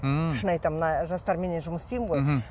ммм шын айтамын мына жастарменен жұмыс істеймін ғой мхм